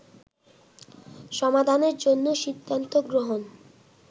সমাধানের জন্য সিদ্ধান্ত গ্রহণ